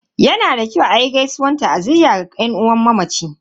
Yana da kyau a yi gaisuwan ta'aziyya ga yan uwan mamaci.